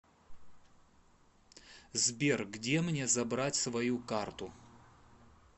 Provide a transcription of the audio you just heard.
сбер где мне забрать свою карту